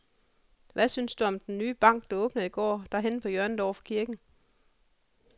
Hvad synes du om den nye bank, der åbnede i går dernede på hjørnet over for kirken?